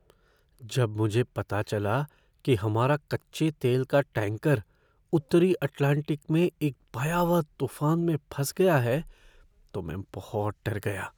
जब मुझे पता चला कि हमारा कच्चे तेल का टैंकर उत्तरी अटलांटिक में एक भयावह तूफान में फँस गया है तो मैं बहुत डर गया।